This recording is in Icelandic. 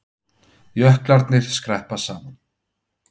Jöklarnir skreppa saman